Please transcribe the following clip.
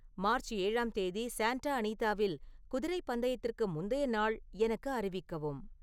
March ஏழாம் தேதி Santa அனிதாவில் குதிரைப் பந்தயத்திற்கு முந்தைய நாள் எனக்கு அறிவிக்கவும்